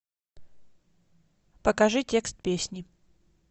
покажи текст песни